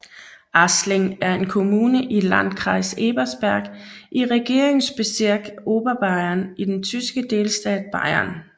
Aßling er en kommune i Landkreis Ebersberg i Regierungsbezirk Oberbayern i den tyske delstat Bayern